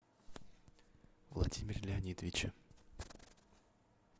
владимире леонидовиче